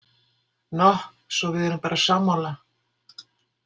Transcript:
Noh, svo við erum bara sammála!